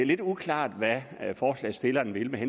lidt uklart hvad forslagsstillerne vil med